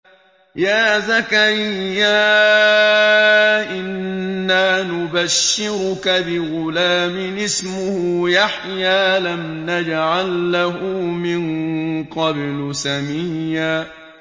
يَا زَكَرِيَّا إِنَّا نُبَشِّرُكَ بِغُلَامٍ اسْمُهُ يَحْيَىٰ لَمْ نَجْعَل لَّهُ مِن قَبْلُ سَمِيًّا